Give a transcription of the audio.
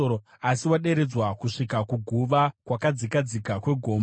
Asi waderedzwa kusvika kuguva, kwakadzika dzika kwegomba.